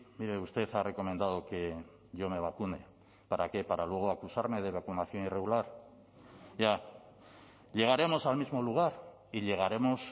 mire usted ha recomendado que yo me vacune para qué para luego acusarme de vacunación irregular ya llegaremos al mismo lugar y llegaremos